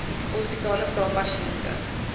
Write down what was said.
hospitale vra pasiënte